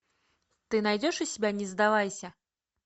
ты найдешь у себя не сдавайся